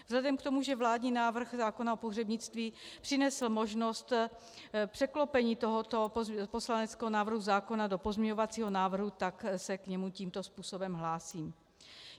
Vzhledem k tomu, že vládní návrh zákona o pohřebnictví přinesl možnost překlopení tohoto poslaneckého návrhu zákona do pozměňovacího návrhu, tak se k němu tímto způsobem hlásím.